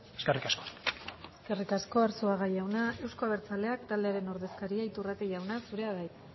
eskerrik asko eskerrik asko arzuaga jauna euzko abertzaleak taldearen ordezkaria iturrate jauna zurea da hitza